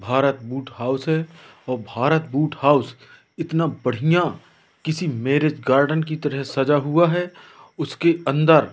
Bharat boot house और Bharat boot house इतना बढ़िया किसी मैरिज गार्डन की तरह सजा हुआ है उसके अंदर--